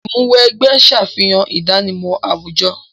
Ìmúw'ẹgbẹ́ ṣàfihàn ìdánimọ̀ àwùjọ.